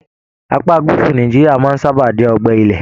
Apá gúúsù Nàìjíríà máa n sábà jẹ ọgbẹ ilẹ́.